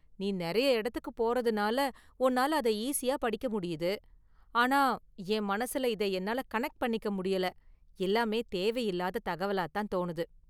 நீ நிறைய இடத்துக்கு போறதுனால உன்னால அதை ஈசியா படிக்க முடியுது, ஆனா என் மனசுல இத என்னால கனெக்ட் பண்ணிக்க முடியல, எல்லாமே தேவையில்லாத தகவலா தான் தோணுது.